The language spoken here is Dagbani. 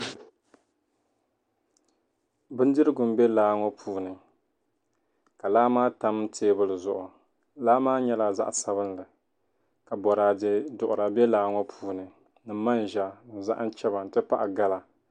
Bindirigu m-be laa ŋɔ puuni ka laa maa tam teebuli zuɣu laa maa nyɛla zaɣ’ sabinli ka bɔraade duɣira be laa ŋɔ puuni ni manʒa ni zahim chaba nti pahi gala